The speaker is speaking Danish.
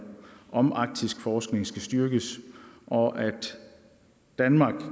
om arktisk forskning skal styrkes og at danmark